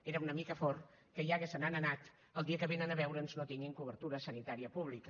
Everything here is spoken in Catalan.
era una mica fort que ja que se n’han anat el dia que vénen a veure’ns no tinguin cobertura sanitària pública